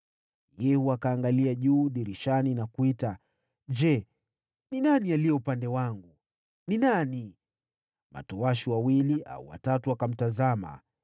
Yehu akaangalia juu dirishani na kuita, “Je, ni nani aliye upande wangu? Ni nani?” Matowashi wawili au watatu wakamtazama.